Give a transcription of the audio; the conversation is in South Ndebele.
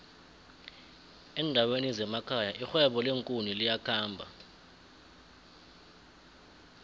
endaweni zemekhaya irhwebo leenkuni liyakhomba